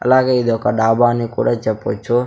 అలాగే ఇది ఒక డాబా అని కూడా చెప్పొచ్చు.